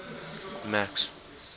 max